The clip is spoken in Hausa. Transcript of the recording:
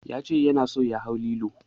Ya ce yana so ya hau lilo.